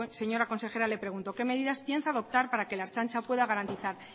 señora consejera le pregunto qué medidas piensa adoptar para que la ertzantza pueda garantizar